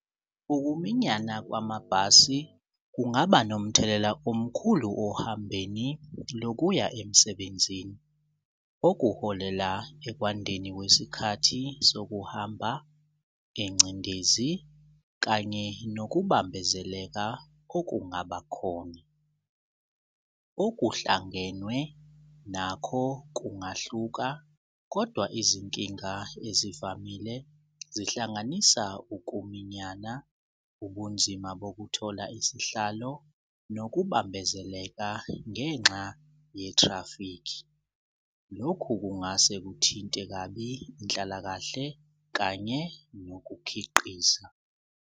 Ukuminyana kwamabhasi kungaba nomthelela omkhulu ohambeni lokuya emsebenzini okuholela ekwandeni kwesikhathi sokuhamba nengcindezi kanye nokubambezeleka okungaba khona. Okuhlangenwe nakho kungahluka kodwa izinkinga ezivamile zihlanganisa ukuminyana, ubunzima bokuthola isihlalo, nokubambezeleka ngenxa ye-traffic. Lokhu kungase kuthinte kabi inhlalakahle kanye nokukhiqiza.